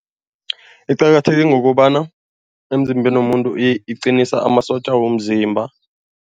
Iqakatheke ngokobana emzimbeni womuntu iqinisa amasotja womzimba.